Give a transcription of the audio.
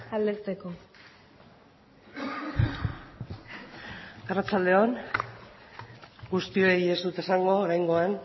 eta aldezteko eskerrik asko arratsalde on guztioi ez dut esango oraingoan